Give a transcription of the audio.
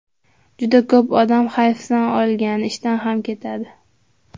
Juda ko‘p odam hayfsan olgan, ishdan ham ketadi.